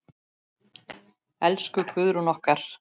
Elsku Guðrún okkar.